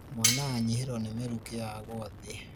mwana anyihĩrũo nĩ mĩrũkĩ agũa thĩ